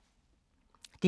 DR K